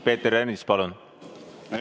Peeter Ernits, palun!